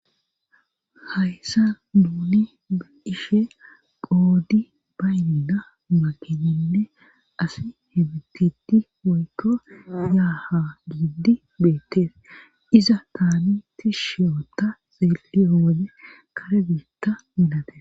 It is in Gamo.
Hayssa duuni ishe qoodi baynda makinenne asi he bititi woykko yaaha giiddi beettees iza taamiti shiyota xeeliyo wode kare biitta milate.